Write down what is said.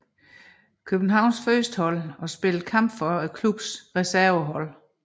Københavns førstehold og spillede kampe for klubbens resvervehold